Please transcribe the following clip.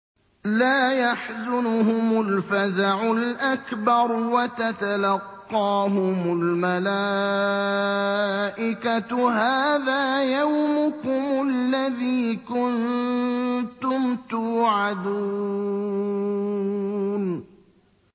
لَا يَحْزُنُهُمُ الْفَزَعُ الْأَكْبَرُ وَتَتَلَقَّاهُمُ الْمَلَائِكَةُ هَٰذَا يَوْمُكُمُ الَّذِي كُنتُمْ تُوعَدُونَ